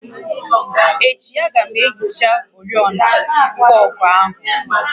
Echi, a ga m ehicha oriọna fọọgụ áhụ